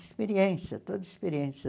Experiência, toda experiência.